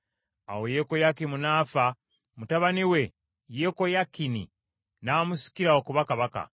Awo Yekoyakimu n’afa, mutabani we Yekoyakini n’amusikira okuba kabaka.